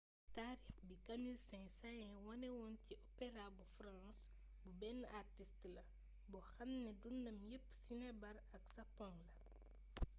taarix bi camille saint-saens wané woon ci opera bu france bu benn artist la ‘’boo xam ni dundam yepp sinébar ak sapong la.’’